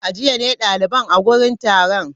A jiya ne daliban a wurin taron?